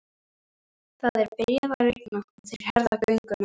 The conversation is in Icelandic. Það er byrjað að rigna og þeir herða gönguna.